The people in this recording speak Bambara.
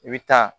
I bɛ taa